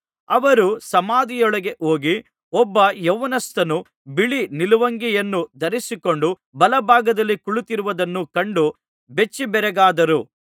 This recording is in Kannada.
ಅವರು ಸಮಾಧಿಯೊಳಗೆ ಹೋಗಿ ಒಬ್ಬ ಯೌವನಸ್ಥನು ಬಿಳಿ ನಿಲುವಂಗಿಯನ್ನು ಧರಿಸಿಕೊಂಡು ಬಲ ಭಾಗದಲ್ಲಿ ಕುಳಿತಿರುವುದನ್ನು ಕಂಡು ಬೆಚ್ಚಿಬೆರಗಾದರು